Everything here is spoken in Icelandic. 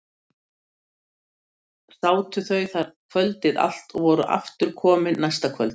Sátu þau þar kvöldið allt og voru aftur komin næsta kvöld.